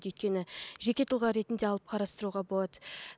өйткені жеке тұлға ретінде алып қарастыруға болады